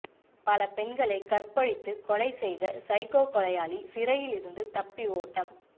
பல பெண்களை கற்பழித்து கொலை செய்த சைக்கோ கொலையாளி சிறையிலிருந்து தப்பி ஓட்டம்